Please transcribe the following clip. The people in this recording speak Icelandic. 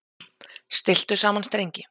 Stilltu saman strengi